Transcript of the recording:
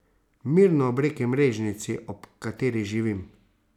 Mirno, ob reki Mrežnici, ob kateri živim.